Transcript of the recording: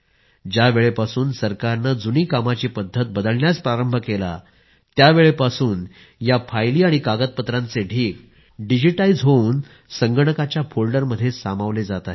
ज्यावेळेपासून सरकारने जुनी कामाची पद्धत बदलण्यास प्रारंभ केला आहे त्यावेळेपासून या फायली आणि कागदपत्रांचे ढीग डिजिटाईज होवून संगणकाच्या फोल्डर मध्ये सामावले जात आहेत